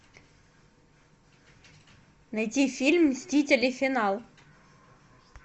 найти фильм мстители финал